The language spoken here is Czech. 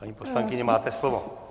Paní poslankyně, máte slovo.